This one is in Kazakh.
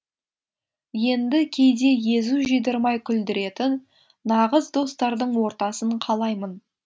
енді кейде езу жидырмай күлдіретін нағыз достардың ортасын қалаймын